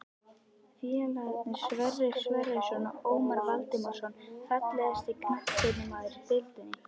Félagarnir Sverrir Sverrisson og Ómar Valdimarsson Fallegasti knattspyrnumaðurinn í deildinni?